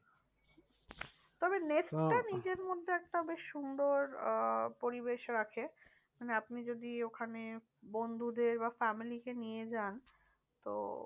তবে নেস্টটা নিজের মধ্যে একটা বেশ সুন্দর আহ পরিবেশ রাখে। মানে আপনি যদি ওখানে বন্ধুদের বা family কে নিয়ে যান তো